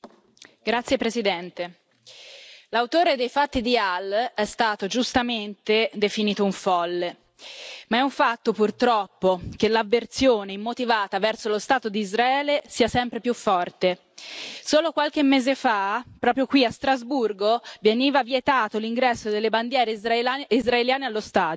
Signora Presidente, onorevoli colleghi, l'autore dei fatti di Halle è stato giustamente definito un folle, ma è un fatto, purtroppo, che l'avversione immotivata verso lo Stato di Israele sia sempre più forte. Solo qualche mese fa, proprio qui a Strasburgo, veniva vietato l'ingresso delle bandiere israeliane allo stadio.